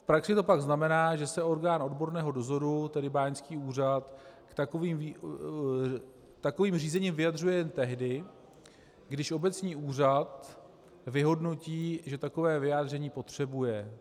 V praxi to pak znamená, že se orgán odborného dozoru, tedy báňský úřad, k takovým řízení vyjadřuje jen tehdy, když obecní úřad vyhodnotí, že takové vyjádření potřebuje.